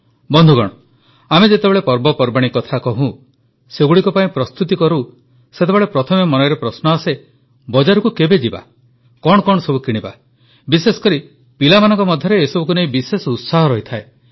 ବନ୍ଧୁଗଣ ଆମେ ଯେତେବେଳେ ପର୍ବପର୍ବାଣୀ କଥା କହୁଁ ସେଗୁଡ଼ିକ ପାଇଁ ପ୍ରସ୍ତୁତି କରୁଁ ସେତେବେଳେ ପ୍ରଥମେ ମନରେ ପ୍ରଶ୍ନ ଆସେ ବଜାରକୁ କେବେ ଯିବା କଣ କଣ ସବୁ କିଣିବା ବିଶେଷକରି ପିଲାମାନଙ୍କ ମଧ୍ୟରେ ଏସବୁକୁ ନେଇ ବିଶେଷ ଉତ୍ସାହ ରହିଥାଏ